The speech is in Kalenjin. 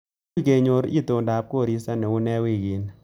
Muuch kenyoru itondap koristo neune wiikini